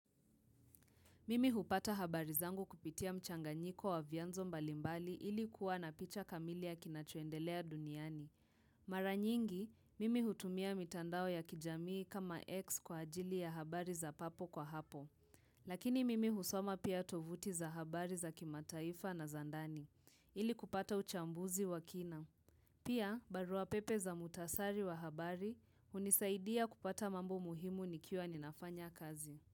Mimi hupata habari zangu kupitia mchanganyiko wa vianzo mbalimbali ili kuwa na picha kamili ya kinachoendelea duniani. Mara nyingi, mimi hutumia mitandao ya kijamii kama X kwa ajili ya habari za papo kwa hapo. Lakini mimi husoma pia tovuti za habari za kimataifa na za ndani. Ili kupata uchambuzi wa kina. Pia, barua pepe za muhktasari wa habari hunisaidia kupata mambo muhimu nikiwa ninafanya kazi.